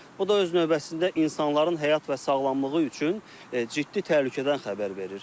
Bu da öz növbəsində insanların həyat və sağlamlığı üçün ciddi təhlükədən xəbər verir.